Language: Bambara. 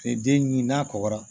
den ɲi n'a kɔgɔra